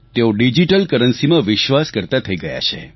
તેઓ ડિજીટલ કરન્સીમાં વિશ્વાસ કરતા થઈ ગયા છે